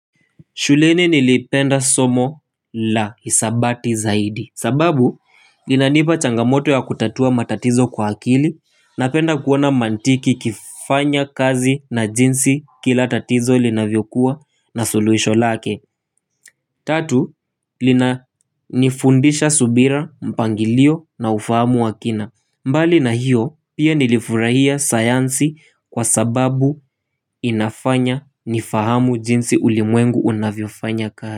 Shuleni nilipenda somo la hisabati zaidi. Sababu inanipa changamoto ya kutatua matatizo kwa akili. Napenda kuwa na mantiki kifanya kazi na jinsi kila tatizo linavyo kuwa na suluhisho lake. Tatu, lina nifundisha subira mpangilio na ufahamu wa kina, mbali na hiyo pia nilifurahia sayansi kwa sababu inafanya nifahamu jinsi ulimwengu unavyo fanya kazi.